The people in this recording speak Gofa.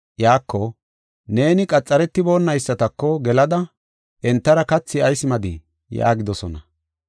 iyako, “Neeni qaxaretiboonaysatako gelada entara kathi ayis maaddii?” yaagidosona.